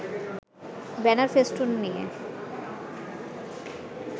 banner-festoon নিয়ে